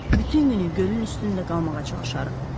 Bütün günü gölün üstündə qalmağa çalışarıq.